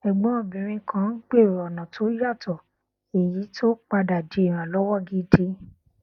ẹgbọn obìnrin kan gbèrò ọnà tó yàtọ èyí tó padà di ìrànlọwọ gidi